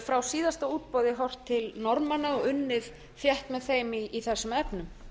frá síðasta útboði horft til norðmanna og unnið þétt með þeim í þessum efnum